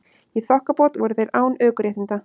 Í þokkabót voru þeir án ökuréttinda